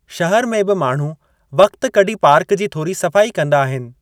शहर में बि माण्हू वक़त कढी पार्क जी थोरी सफ़ाई कंदा आहिनि।